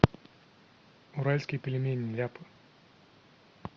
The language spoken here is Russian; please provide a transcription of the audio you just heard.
уральские пельмени ляпы